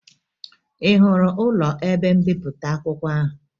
Ị hụrụ ụlọ ebe mbipụta akwụkwọ ahụ?